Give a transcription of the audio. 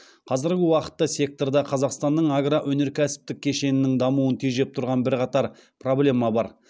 қазіргі уақытта секторда қазақстанның агроөнеркәсіптік кешенінің дамуын тежеп тұрған бірқатар проблема бар